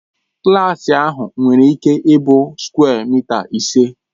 Klaasị ahụ nwere ịke ị bụ sukwe mịta ise.